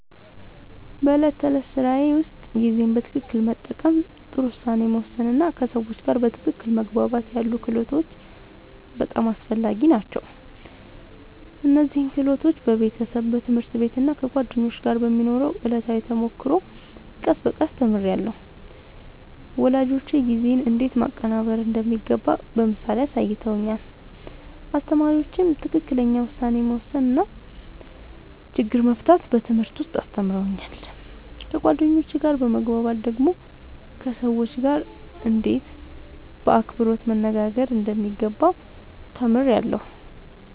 በዕለት ተዕለት ሥራዬ ውስጥ ጊዜን በትክክል መጠቀም፣ ጥሩ ውሳኔ መወሰን እና ከሰዎች ጋር በትክክል መግባባት ያሉ ክህሎቶች በጣም አስፈላጊ ናቸው። እነዚህን ክህሎቶች በቤተሰብ፣ በትምህርት ቤት እና ከጓደኞች ጋር በሚኖረው ዕለታዊ ተሞክሮ ቀስ በቀስ ተምሬያለሁ። ወላጆቼ ጊዜን እንዴት ማቀናበር እንደሚገባ በምሳሌ አሳይተውኛል፣ አስተማሪዎቼም ትክክለኛ ውሳኔ መወሰን እና ችግር መፍታት በትምህርት ውስጥ አስተምረውኛል። ከጓደኞቼ ጋር በመግባባት ደግሞ ከሰዎች ጋርእንዴት በአክብሮት መነጋገር እንደሚገባ ተምሬያለሁ።